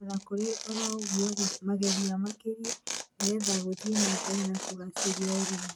O na kũrĩ o ũguo, mageria makĩria nĩ getha gũthie na mbere na kũgacĩrithia ũrĩmi